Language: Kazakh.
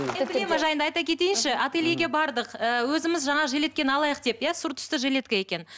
жайында айта кетейінші ательеге бардық ііі өзіміз жаңа жилетткені алайық деп иә сұр түсті жилетка екен